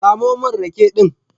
Samo min rake din